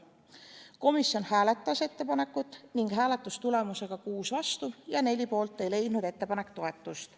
Komisjon hääletas ettepanekut ning hääletustulemusega 6 vastu ja 4 poolt ei leidnud ettepanek toetust.